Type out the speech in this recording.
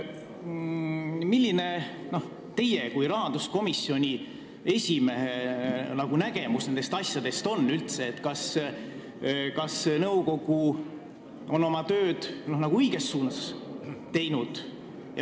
Milline on teie kui rahanduskomisjoni esimehe nägemus nendest asjadest, kas nõukogu on oma tööd õiges suunas teinud?